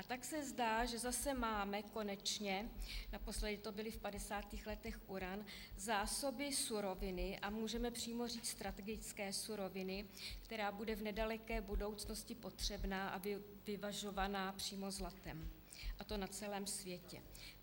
A tak se zdá, že zase máme konečně - naposledy to byl v 50. letech uran - zásoby suroviny, a můžeme přímo říci strategické suroviny, která bude v nedaleké budoucnosti potřebná a vyvažovaná přímo zlatem, a to na celém světě.